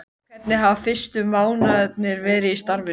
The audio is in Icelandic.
Hvernig hafa fyrstu mánuðirnir verið í starfinu?